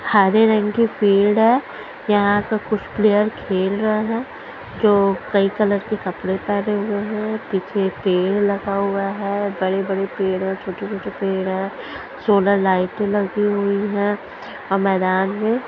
हरे रंग की पेड़ है। यहां पर कुछ प्लेयर खेल रे है जो कई कलर के कपड़े पहने हुए है पीछे पेड़ लगा हुआ है बड़े-बड़े पेड़ हैं और छोटे-छोटे पेड़ है सोलर लाइट लगी हुई है और मैदान में --